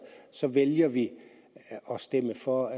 så vælger vi at stemme for